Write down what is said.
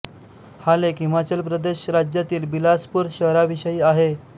हा लेख हिमाचल प्रदेश राज्यातील बिलासपुर शहराविषयी आहे